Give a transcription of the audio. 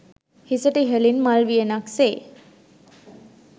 හිසට ඉහළින් මල් වියනක් සේ